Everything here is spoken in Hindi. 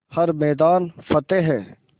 हर मैदान फ़तेह